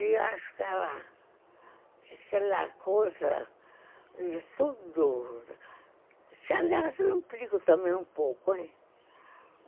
E acho que é aquela coisa de tudo... que, aliás, eu implico também um pouco, hein?